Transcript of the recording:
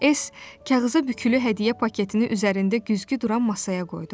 S kağıza bükülü hədiyyə paketini üzərində güzgü duran masaya qoydu.